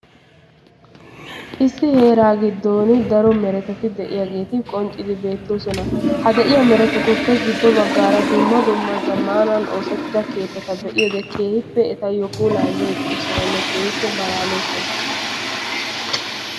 Issi heeraa giddoni daro meerettati de'iyaageeti qonccidi beettoosona; ha de'iyaa meeretaatuppe giddo baggaara dumma dumma zamaanan ossetttida keettata be'iyoode keehippe etayoo pulaa immi uttidosonne keehippe malaalosona.